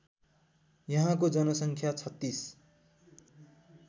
यहाँको जनसङ्ख्या ३६